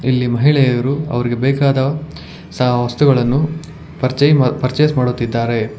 ಇಲ್ಲಿ ಮಹಿಳೆಯರು ಅವರಿಗೆ ಬೇಕಾದ ಸಹ ವಸ್ತುಗಳನ್ನು ಪರಿಚಯ ಪರ್ಚೇಸ್ ಮಾಡುತ್ತಿದ್ದಾರೆ.